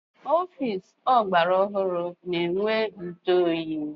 Ọfịịsi ọgbara ọhụrụ ga-enwe njụoyi.